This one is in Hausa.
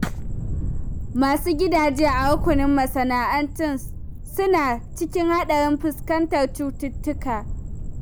Masu gidaje a rukunin masana'antu suna cikin haɗarin fuskantar cututtuka.